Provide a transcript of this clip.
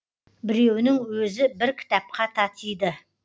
біреуінің өзі бір кітапқа татиды